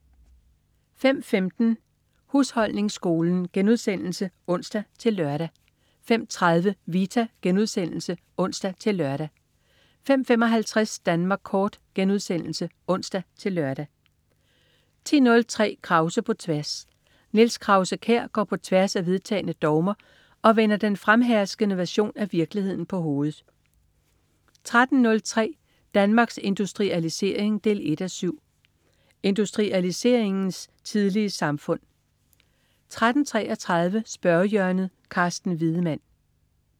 05.15 Husholdningsskolen* (ons-lør) 05.30 Vita* (ons-lør) 05.55 Danmark Kort* (ons-lør) 10.03 Krause på tværs. Niels Krause-Kjær går på tværs af vedtagne dogmer og vender den fremherskende version af virkeligheden på hovedet 13.03 Danmarks Industrialisering 1:7. Industrialiseringens tidlige samfund 13.33 Spørgehjørnet. Carsten Wiedemann